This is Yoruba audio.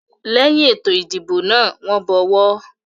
Lẹ́yin ètò ìdìbò náà, wọ́n bọ ọwọ́.